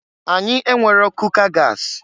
Anyị enwero kuka gas.